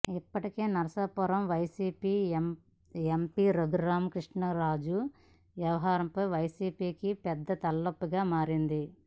ఇప్పటికే నరసాపురం వైసీపీ ఎంపీ రఘురామకృష్ణంరాజు వ్యవహారం వైసీపీకి పెద్ద తలనొప్పిగా మారింది